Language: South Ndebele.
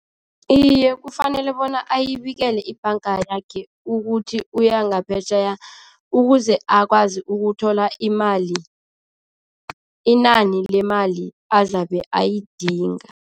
Iye, kufanele bona ayibikele ibhanga yakhe ukuthi uya ngaphetjheya, ukuze akwazi ukuthola imali, inani lemali azabe ayidinga.